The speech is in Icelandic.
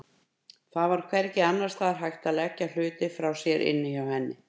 Það var hvergi annars staðar hægt að leggja hluti frá sér inni hjá henni.